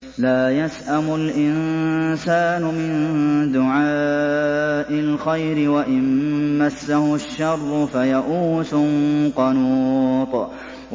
لَّا يَسْأَمُ الْإِنسَانُ مِن دُعَاءِ الْخَيْرِ وَإِن مَّسَّهُ الشَّرُّ فَيَئُوسٌ قَنُوطٌ